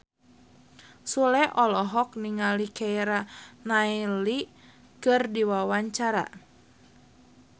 Sule olohok ningali Keira Knightley keur diwawancara